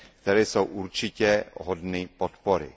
které jsou určitě hodny podpory.